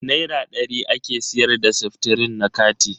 Naira dari ake siyar da seftrin na kati.